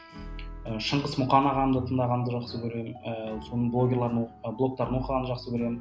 ы шыңғыс мұқан ағамды тыңдағанды жақсы көремін ііі соның блогерларын оқуға блогтарын оқығанды жақсы көремін